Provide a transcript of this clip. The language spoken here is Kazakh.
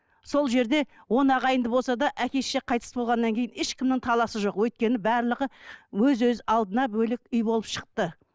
сол жерде он ағайынды болса да әке шеше қайтыс болғаннан кейін ешкімнің таласы жоқ өйткені барлығы өз өз алдына бөлек үй болып шықты